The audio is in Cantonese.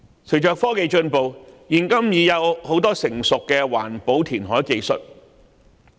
隨着科技進步，現今已有多項成熟的環保填海技術。